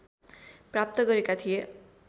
प्राप्त गरेका थिए